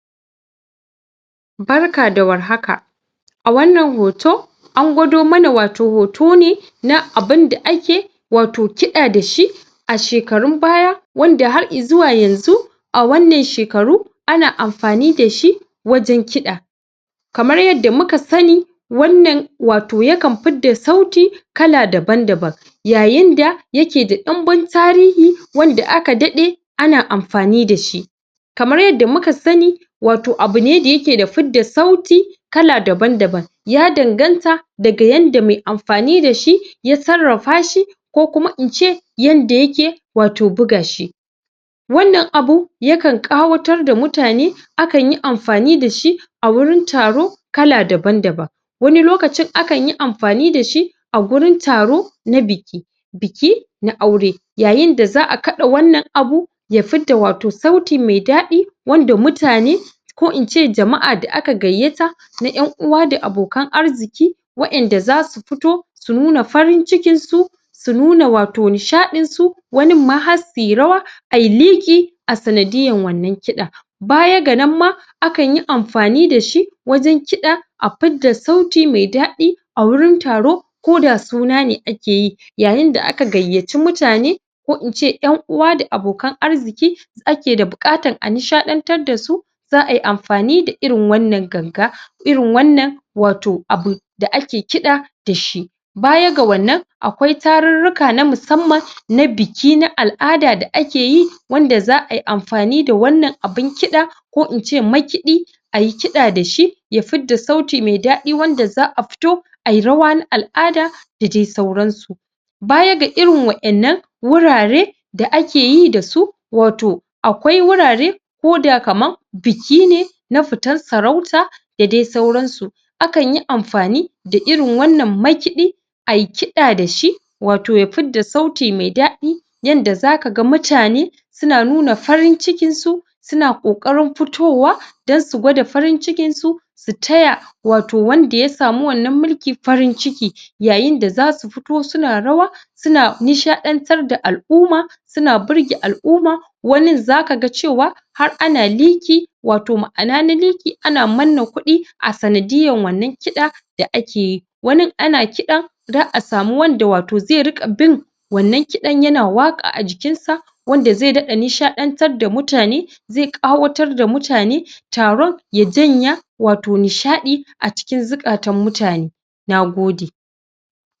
Barka da warhaka a wannan hoto an gwado mana wato hoto ne na abinda ake wato kiɗa da shi a shekrun baya wanda har izuwa yanzu a wannan shekaru ana amfani da shi wajen kiɗa kamar yanda muka sani wannan wato yakan fidda sauti kala daban-daban yayinda yake da ɗumbin tarihi anda aka daɗe na amfani da shi kamar yanda muka sani wato abu ne da yake da fidda sauti kala daban-daban ya danganta daga yanda mai amfani da shi ya sarrafa shi ko kuma in ce yanda yake wato bugashi wannan abu yakan ƙawatar da mutane akanyi amfani da shi a wurin taro kala daban-daban wani lokacin akanyi amfani da shi a gurin taro na biki biki na aure yayinda za a kaɗa wannan abu ya fidda wa to sauti mai daɗi wanda mutane ko in ce jama'a da aka gayyata na ƴan uwa da abokan arziki wa'inda za su fito su nuna farin-cikinsu su nuna wato nishaɗinsu waninma har suyi rawa ayi liƙi a sanadiyyan wannan kiɗa baya ga nan ma akanyi amfani da shi wajen kiɗa a fidda sauti mai daɗi a wurin taro ko da suna ne akeyi yayinda aka gayyaci mutane ko in ce ƴan'uwa da abokan arziki ake da buƙatan a nishaɗantar da su za ayi amfani da irin wannan ganga irin wannan wato abu da ake kiɗa da shi baya ga wannan akwai tarurruka na musamman na biki na al'ada da ake yi wanda za ayi amfani da wannan abun kiɗa ko in ce makiɗi a yi kiɗa da shi ya fidda sauti mai daɗi wanda za a fito ayi rawa na al'ada da dai sauransu baya ga irin waƴannan wurare da akeyi da su wato akwai wurare ko da kaman biki ne na fitan sarauta da dai sauransu akanyi amfani da irin wannan makiɗi yi kiɗa da shi wato ya fidda sauti mai daɗi yanda zaka ga mutane suna nuna farin-cikinsu suna ƙoƙarin fitowa dan su gwada farin-cikinsu su taya wato wanda ya samu wannan mulki farin-ciki yayinda zasu fito suna rawa suna nishɗantar da al'uma suna birge al'uma wanin zaka ga cewa har ana liƙi wato ma'ana na liƙi ana manna kuɗi sanadiyyan wannan kiɗa da ake yi wanin ana kiɗan za a samu wanda wato zai riƙa bin wannan kiɗan yana waƙa a jikinsa wanda zai daɗa nishaɗantar da murane zai ƙawatar da mutane taron ya janya wato nishaɗi a cikin zukatan mutane na gode.